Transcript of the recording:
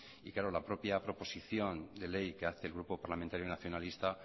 y claro la propia proposición de ley que hace el grupo parlamentario nacionalista